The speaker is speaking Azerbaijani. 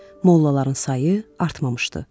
Mollaların sayı artmamışdı.